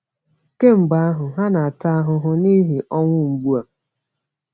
Kemgbe ahụ, ha na-ata ahụhụ n’ihi ọnwụ mgbu a.